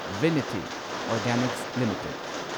Vinati Organics limited